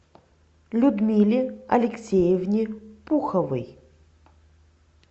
людмиле алексеевне пуховой